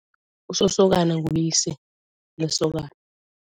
Usosokana nguyise lesokana.